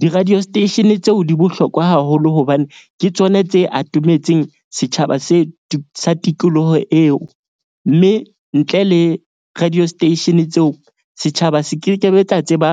Di-radio station tseo di bohlokwa haholo hobane ke tsona tse atometseng setjhaba se tikoloho eo. Mme ntle le radio station tseo setjhaba se kekebe tsa tseba